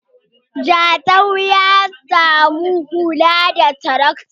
Jatau ya za yi Huɗa da tarakta